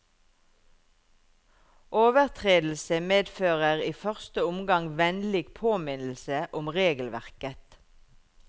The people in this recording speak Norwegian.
Overtredelse medfører i første omgang vennlig påminnelse om regelverket.